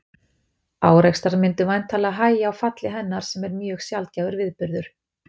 Árekstrar myndu væntanlega hægja á falli hennar sem er mjög sjaldgæfur viðburður.